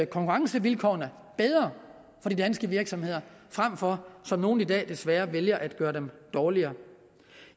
konkurrencevilkårene bedre for de danske virksomheder frem for som nogle i dag desværre vælger at gøre dem dårligere